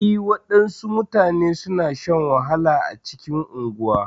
E, wasu mutane suna shan wahala a cikin unguwa.